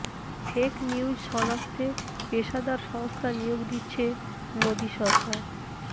fake news শনাক্তে পেশাদার সংস্থা নিয়োগ দিচ্ছে মোদি সরকার